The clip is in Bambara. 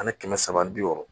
Ani kɛmɛ saba ani bi wɔɔrɔ